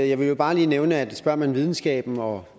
jeg vil bare lige nævne at spørger man videnskaben og